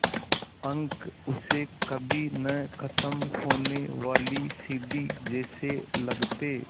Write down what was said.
अंक उसे कभी न ख़त्म होने वाली सीढ़ी जैसे लगते